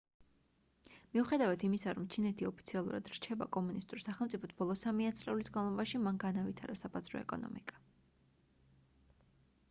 მიუხედავად იმისა რომ ჩინეთი ოფიციალურად რჩება კომუნისტურ სახელმწიფოდ ბოლო სამი ათწლეულის განმავლობაში მან განავითარა საბაზრო ეკონომიკა